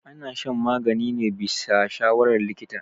ana shan magani ne bisa shawarar likita